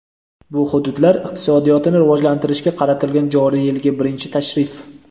bu – hududlar iqtisodiyotini rivojlantirishga qaratilgan joriy yilgi birinchi tashrif.